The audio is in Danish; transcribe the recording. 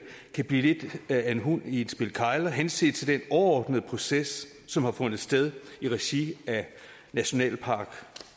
kan blive lidt af en hund i et spil kegler henset til den overordnede proces som har fundet sted i regi af nationalpark